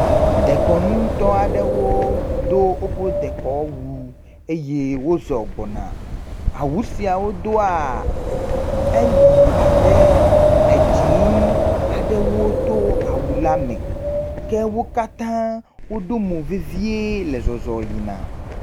Ɖekɔnutɔwo aɖe do woƒe dekɔwu eye wozɔ̃ gbɔna. Awu sia wodoa, eli abe edzi aɖewo to awu la me ke wo katã woɖo mo vevie le zɔzɔɔ yina.